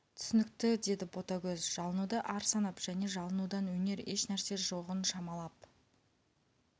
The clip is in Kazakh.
түсінікті деді ботагөз жалынуды ар санап және жалынудан өнер ешнәрсе жоғын шамалап